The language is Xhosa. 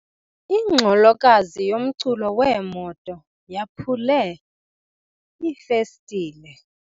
Ingxolokazi yomculo wemoto yaphule iifestile.